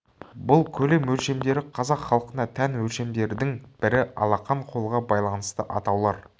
бұл көлем өлшемдері қазақ халқына тән өлшемдердің бірі алақан қолға байланысты атаулар